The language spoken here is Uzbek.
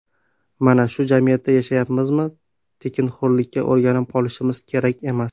Mana shu jamiyatda yashayapmizmi, tekinxo‘rlikka o‘rganib qolishimiz kerak emas.